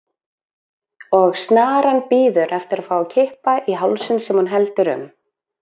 Og snaran bíður eftir að fá að kippa í hálsinn sem hún heldur um.